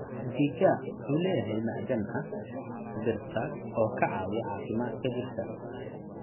Mchichaa wuxuu leeyahay macdan ah birta oo ka caawiya caafimaadka jidhka.